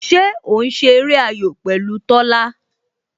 Ṣé o ń ṣe eré ayò pẹ̀lú Tola?